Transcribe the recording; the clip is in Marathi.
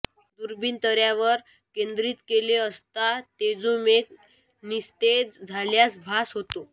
दुर्बीण ताऱ्यावर केंद्रित केली असता तेजोमेघ निस्तेज झाल्याचा भास होतो